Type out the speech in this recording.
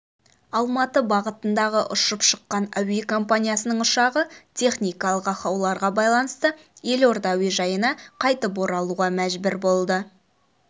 алматы бағытында ұшып шыққан әуе компаниясының ұшағы техникалық ақауларға байланысты елорда әуежайына қайтып оралуға мәжбүр болды